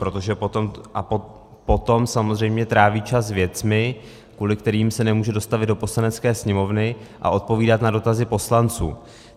Protože potom samozřejmě tráví čas věcmi, kvůli kterým se nemůže dostavit do Poslanecké sněmovny a odpovídat na dotazy poslanců.